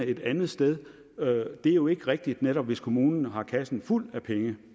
et andet sted det er jo ikke rigtigt netop hvis kommunen har kassen fuld af penge